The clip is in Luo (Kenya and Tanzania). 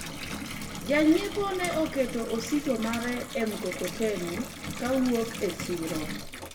janyiepo ne oketo osigo mare e mkokoteni kowuok e siro